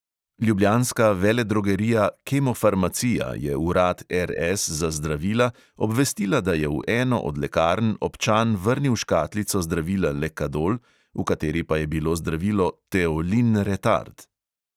Ljubljanska veledrogerija kemofarmacija je urad RS za zdravila obvestila, da je v eno od lekarn občan vrnil škatlico zdravila lekadol, v kateri pa je bilo zdravilo teolin retard.